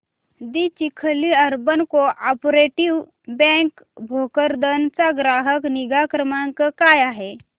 दि Chikhli urban cooperative bank Bhokardan चा ग्राहक निगा क्रमांक काय आहे